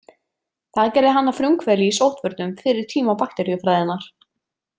Það gerði hann að frumkvöðli í sóttvörnum fyrir tíma bakteríufræðinnar.